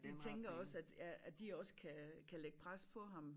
De tænker også at ja at de også kan kan lægge pres på ham